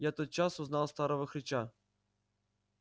я тотчас узнал старого хрыча